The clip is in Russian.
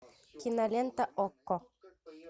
кинолента окко